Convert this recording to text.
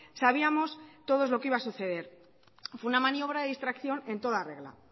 sabíamos todos lo que iba a suceder fue una maniobra de distracción en toda regla